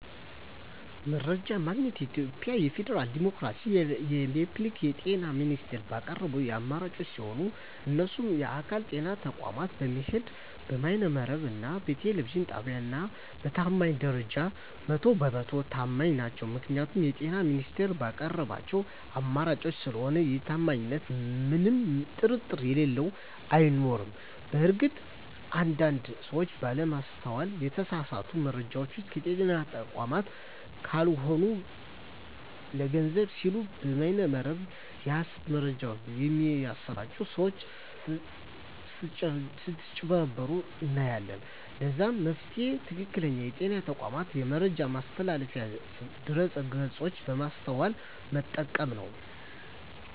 መረጃ የማገኘዉ የኢትዮጵያ ፌደራላዊ ዲሞክራሲያዊ የፐብሊክ የጤና ሚኒስቴር ባቀረባቸዉ አማራጮች ሲሆን እነሱም በአካል (ጤና ተቋማት በመሄድ)፣ በበይነ መረብ እና በቴሌቪዥን ጣቢያወች ነዉ። በታማኝነት ደረጃ 100 በ 100 ተማኝ ናቸዉ ምክንያቱም የጤና ሚኒስቴሩ ባቀረባቸዉ አማራጮች ስለሆነ በታማኝነቱ ምንም ጥርጥር የለኝም አይኖረኝም። በእርግጥ አንድ አንድ ሰወች ባለማስተዋል የተሳሳቱ መረጃወችን ከጤና ተቋማት ካልሆኑ ለገንዘብ ሲሉ በበይነ መረብ የሀሰት መረጃወች በሚያሰራጪ ሰወች ስጭበረበሩ እናያለን ለዛም መፍትሄዉ ትክክለኛዉ የጤና ተቋሙን የመረጃ ማስተላለፊያ ድረገፆች በማስተዋል መጠቀም ነዉ።